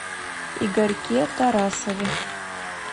игорьке тарасове